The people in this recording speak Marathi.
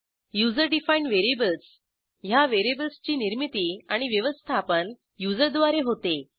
युजर डिफाईंड व्हेरिएबल्स ह्या व्हेरिएबल्सची निर्मीती आणि व्यवस्थापन युजर द्वारे होते